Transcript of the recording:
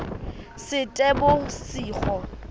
seetebosigo